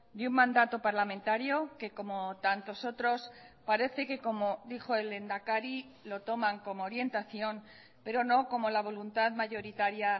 y un mandato parlamentario que como tantos otros parece que como dijo el lehendakari lo toman como orientación pero no como la voluntad mayoritaria